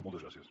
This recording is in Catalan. moltes gràcies